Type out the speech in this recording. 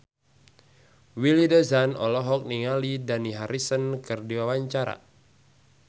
Willy Dozan olohok ningali Dani Harrison keur diwawancara